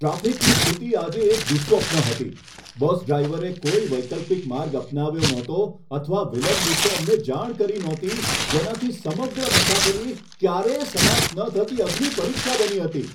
ટ્રાફિકની સ્થિતિ આજે એક દુઃસ્વપ્ન હતી. બસ ડ્રાઈવરે કોઈ વૈકલ્પિક માર્ગ અપનાવ્યો નહોતો અથવા વિલંબ વિશે અમને જાણ કરી નહોતી, જેનાથી સમગ્ર મુસાફરી ક્યારેય સમાપ્ત ન થતી અગ્નિપરીક્ષા બની હતી!